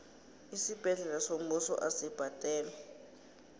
isibhedlela sombuso asibhadalwa